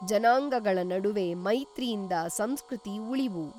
ಜನಾಂಗಗಳ ನಡುವೆ ಮೈತ್ರಿಯಿಂದ ಸಂಸ್ಕೃತಿ ಉಳಿವು.